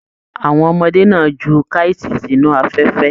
Àwọn ọmọdé náà jù kaiti sínú afẹfẹ.